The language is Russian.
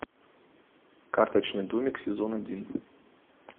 карточный домик сезон один